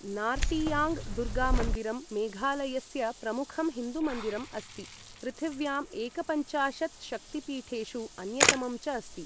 नार्टियाङ्ग् दुर्गामन्दिरं मेघालयस्य प्रमुखं हिन्दुमन्दिरम् अस्ति, पृथिव्यां एकपञ्चाशत् शक्तिपीठेषु अन्यतमम् च अस्ति।